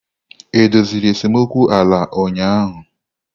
E doziri esemokwu ala ụnyahụ?